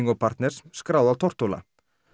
og partners skráð á Tortóla